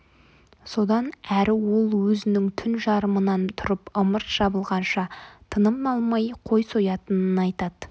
содан әрі ол өзінің түн жарымынан тұрып ымырт жабылғанша тыным алмай қой соятынын айтады